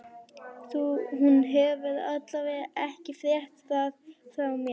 Hún hefur alla vega ekki frétt það frá mér.